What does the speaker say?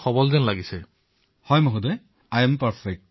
মই কলো যে জীৱন থাকিলে পিছতো পৰীক্ষা দিব পৰা যাব